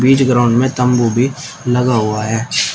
बीच ground में तंबू भी लगा हुआ है।